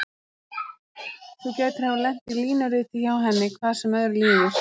Þú gætir hafa lent í línuriti hjá henni, hvað sem öðru líður.